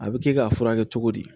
A bɛ kɛ k'a furakɛ cogo di